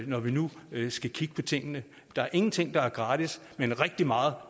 når vi nu skal kigge på tingene der er ingenting der er gratis men rigtig meget